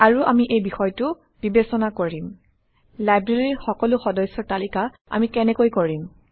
আৰু আমি এই বিষয়টো বিবেচনা কৰিম লাইব্ৰেৰীৰ সকলো সদস্যৰ তালিকা আমি কেনেকৈ কৰিম